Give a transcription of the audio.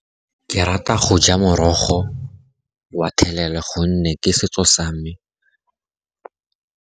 Ke rata go ja morogo wa thelela, gonne ke setso sa me.